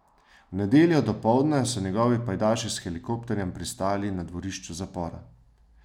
V nedeljo dopoldne so njegovi pajdaši s helikopterjem pristali na dvorišču zapora.